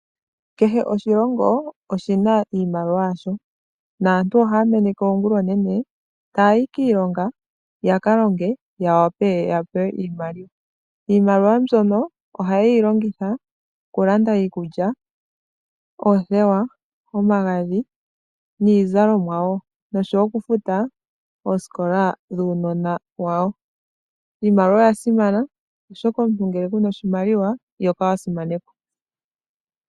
Kehe oshilongo shina iimaliwa yasho, naantu ohaya meneke oongula oonene taya yi kiilongo, yakalonge yawape ya pewe iimaliwa. Iimaliwa mbyono ohayeyi longitha okulanda iikulya, oothewa, omagadhi niizalomwan noshowoo okufuta oosikola dhuunona wawo. Iimaliwa oya simana oshoka ngele kuyina ihokala wasimanekwa.